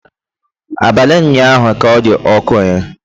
Abali ụnyahụ ka ọ dị ọkụ eh